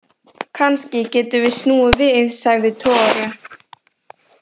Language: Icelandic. Kannski getum við snúið við, sagði Tore.